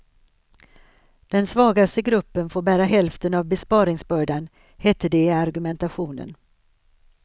Den svagaste gruppen får bära hälften av besparingsbördan, hette det i argumentationen.